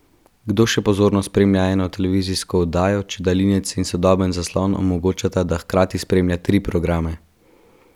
Kdo še pozorno spremlja eno televizijsko oddajo, če daljinec in sodoben zaslon omogočata, da hkrati spremljate tri programe?